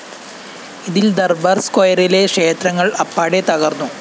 ഇതില്‍ ദര്‍ബാര്‍ സ്‌ക്വയറിലെ ക്ഷേത്രങ്ങള്‍ അപ്പാടെ തകര്‍ന്നു